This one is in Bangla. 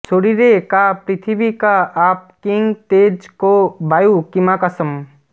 শরীরে কা পৃথিবী কা আপঃ কিং তেজঃ কো বাযুঃ কিমাকাশম্